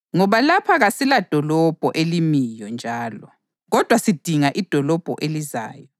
Ngoba lapha kasiladolobho elimiyo njalo, kodwa sidinga idolobho elizayo.